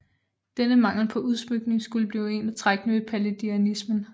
Denne mangel på udsmykning skulle blive et af trækkene ved palladianismen